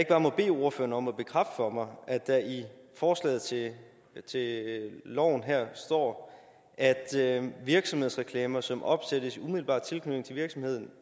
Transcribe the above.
bare må bede ordføreren om at bekræfte over for mig at der i forslaget til loven her står at virksomhedsreklamer som opsættes i umiddelbar tilknytning til virksomheden